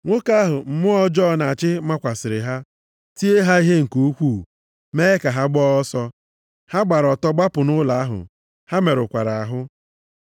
Nwoke ahụ mmụọ ọjọọ na-achị makwasịrị ha, tie ha ihe nke ukwuu, mee ka ha gbaa ọsọ. Ha gbara ọtọ gbapụ nʼụlọ ahụ. Ha merụkwara ahụ.